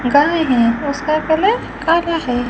गाय हैं उसका कलर काला है।